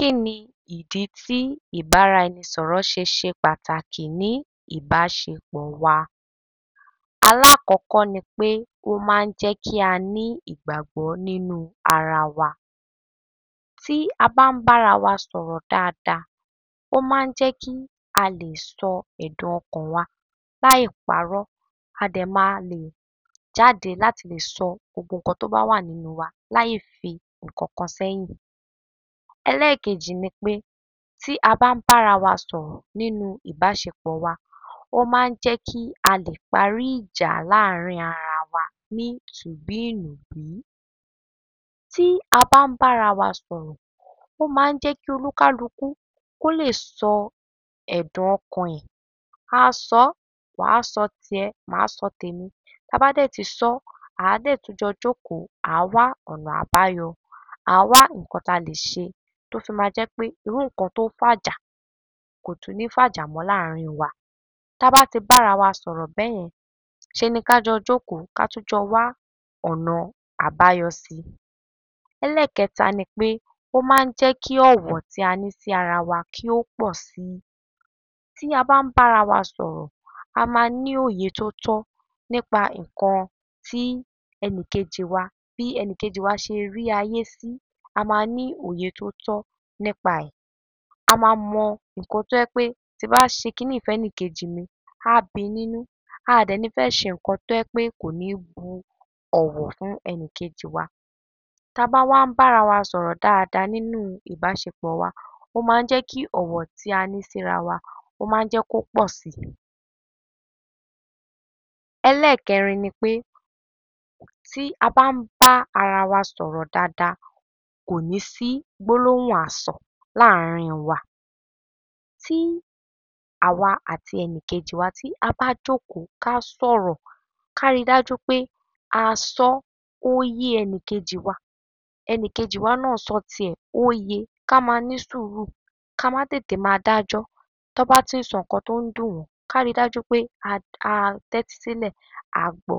Kí ni ìdí tí ìbáraẹnisọ̀rọ̀ ṣe ṣe pàtàkì ní ìbáṣepọ̀ wa? Alákọ̀ọ́kọ́ ni pé ó máa ń jẹ́ kí a ní ìgbàgbọ́ nínú ara wa. Tí a bá ń bára wa sọ̀rọ̀ dáadáa, ó máa ń jẹ́ kí a lè sọ ẹ̀dùn ọkàn wa láìparọ́, a dẹ̀ máa lè jáde láti lè sọ gbogbo nǹkan tó bá wà nínú wa láìfi ǹǹkan kan sẹ́yìn. Ẹlẹ́ẹ̀kejì ni pé tí a bá ń bára wa sọ̀rọ̀ nínú ìbáṣepọ̀ wa, ó máa ń jẹ́ kí a lè parí ìjà láàrín ara wa ní tùbíìnùbí. Tí a bá ń bára wa sọ̀rọ̀, ó máa ń jẹ́ kí olúkálukú kó lè sọ ẹ̀dùn ọkàn ẹ̀. Á sọ ọ́. Wà á sọ tìẹ, mà á sọ tèmi. Tá a bá dẹ̀ ti sọ́, à á dẹ̀ tún jọ jókòó, à á wá ọ̀nà àbáyọ. À á wá ǹǹkan tá a lè ṣe tó fi ma jẹ́ pé irú ǹǹkan tó fàjà kò tún ní í fàjà mọ́ láàrín wa. Tá a bá ti bára wa sọ̀rọ̀ bẹ́yẹn, ṣe ni ká jọ jókòó, ká tún jọ wá ọnà àbáyọ si. Ẹlẹ́ẹ̀kẹta ni pé ó máa ń jẹ́ kí ọ̀wọ̀ tí a ní sí ara wa kí ó pọ̀ si. Tí a bá ń bára wa sọ̀rọ̀, a máa ní òye tó tọ́ nípa ǹǹkan tí ẹnìkejì wa, bí ẹnìkejì wa ṣe rí ayé sí. A ma ní òye tó tọ́ nípa ẹ̀. A ma mọ ǹǹkan tó ẹ́ pé tí n bá ṣe kiní ìí fẹ́nìkejì mi, á bi nínú. A à dẹ̀ ní í fẹ́ ṣe nǹkan tó ẹ́ pé kò ní í bu ọ̀wọ̀ fún ẹnìkejì wa. Tá a bá wá ń bára wa sọ̀rọ̀ dáadáa nínú ìbáṣepọ̀ wa, ó ma ń jẹ́ kí ọ̀wọ́ tí a ní síra wa, ó ma ń jẹ́ kó pọ si. Ẹlẹ́ẹ̀kẹrin ni pé tí a bá ń bá ara wa sọ̀rọ̀ dáadáa, kò ní í sí gbólóhùn asọ̀ láàrín wa. Tí àwa àti ẹnìkejì wa tí a bá jókòó, ká sọ̀rọ̀, ká ri dájú pé a sọ́ ó yé ẹnìkejì wa. Ẹnìkejì wa náà sọ tiẹ̀ ó ye. Ká máa ní sùúrù. Ká má tètè máa dájọ́. Tán bá ti ń sọ ǹǹkan tó ń dùn wọ́n, ká ri dájú pé a, a tẹ́tí sílẹ̀, a gbọ.